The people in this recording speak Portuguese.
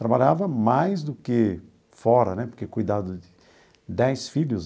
Trabalhava mais do que fora né, porque cuidava de dez filhos,